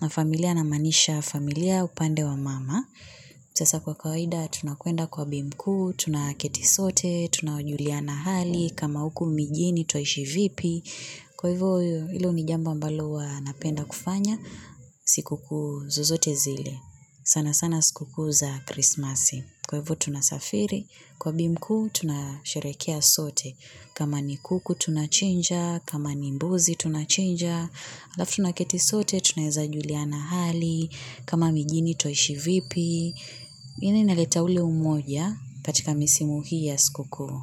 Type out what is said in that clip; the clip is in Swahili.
Na familia namaanisha familia upande wa mama sasa kwa kawaida, tunakwenda kwa bimkuu, tunaketi sote, tunajuliana hali, kama huku mijini twaishi vipi. Kwa hivyo, ilo ni jambo ambalo huwa napenda kufanya, sikuu zozote zile. Sana sana sikukuu za Krismasi kwa ivo tunasafiri, kwa bi mkuu, tunasheherekea sote. Kama ni kuku tunachinja, kama ni mbuzi tunachinja, alafu tunaketi sote tunaweza juliana hali, kama mijini twaishi vipi, yani inaleta ule umoja katika misimu hii ya sikukuu.